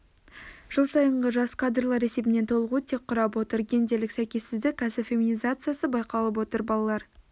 жыл сайынғы жас кадрлар есебінен толығу тек құрап отыр гендерлік сәйкессіздік кәсіп феминизациясы байқалып отыр балалар